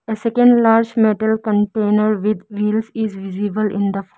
A second large metal container with meals is visible in the --